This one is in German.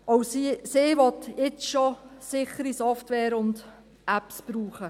Auch sie will jetzt schon sichere Software und Apps brauchen.